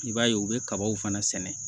I b'a ye u bɛ kabaw fana sɛnɛ